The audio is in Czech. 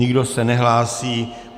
Nikdo se nehlásí.